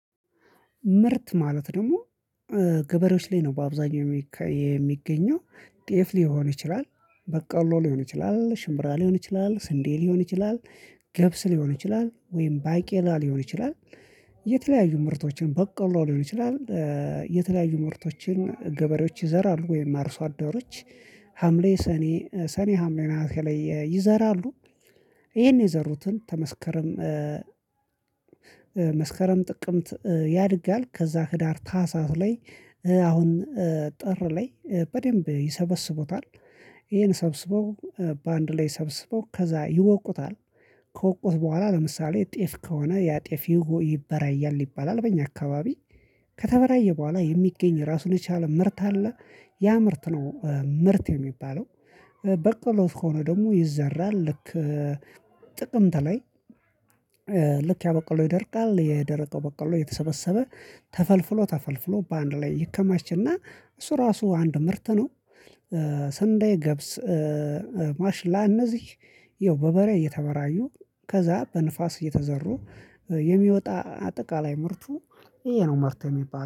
ምርት ማለት ደግሞ ገበሬዎች ላይ ነው በአብዛኛው የሚገኘው። ጤፍ ሊሆን ይችላል በቀሎ ሊሆን ይችላል ሽምብራ ሊሆን ይችላል ስንዴ ሊሆን ይችላል ገብስ ሊሆን ይችላል ወይም ባቄላ ሊሆን ይችላል። የተለያዩ ምርቶችን በቆሎ ሊሆን ይችላል የተለያዩ ምርቶችን ገበሬዎች ይዘራሉ። ወይም አርሶ አዳሮች ሀምሌ ሰኔ ሰኔ ሀምሌ ነሀሴ ላይ ይዘራሉ። ይሄን የዘሩትን ከመስከረም መስከረም ጥቅምት ያድጋል ከዛ ክዳር ታህሳስ ላይ አሁን ጥር ላይ በደንብ ይሰበስቡታል። ይሄን ሰብስበው በአንድ ላይ ሰብስበው ከዛ ይወቁታል። ከወቁት በኋላ ለምሳሌ ጤፍ ከሆነ ያጤፍ ይበራያል ይባላል በእኛ አካባቢ ከተበራየ በኋላ የሚገኝ ራሱን የቻለ ምርት አለ ያ ምርት ነው ምርት የሚባለው። በቆሎ ከሆነ ደግሞ ይዘራል ልክ ጥቅምት ላይ ልክ ያበቀሎ ይደርቃል የደረቀው በቀሎ የተሰበሰበ ተፈልፍሎ ተፈልፍሎ በአንድ ላይ ይከማችና እሱ ራሱ አንድ ምርት ነው። ሰንዳዬ ገብስ ማሽላ እነዚህ ይኸው በበሬ እየተበራዩ ከዛ በንፋስ እየተዘሩ የሚወጣ አጠቃላይ ምርቱ ይሄ ነው ምርት የሚባለው